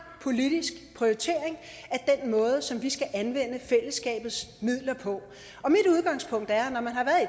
politisk prioritering af den måde som vi skal anvende fællesskabets midler på og mit udgangspunkt er